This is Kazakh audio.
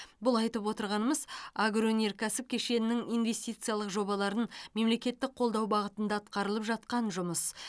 бұл айтып отырғанымыз агроөнеркәсіп кешенінің инвестициялық жобаларын мемлекеттік қолдау бағытында атқарылып жатқан жұмыс